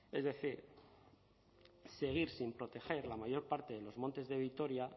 es decir seguir sin proteger la mayor parte de los montes de vitoria